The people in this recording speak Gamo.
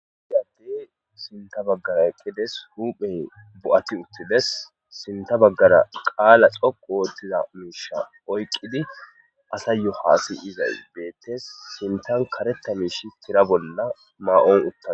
Issi Adey sintha bagara eqides huphey bo'at uttides,sinta bagara qala dhoqu otiza misha oyqid asayo hasa'zays betes .sintan karetha mish Tira bolla may'on utadus.